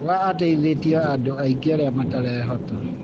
Oga ateithĩtie andũ aingĩ arĩa matarehota.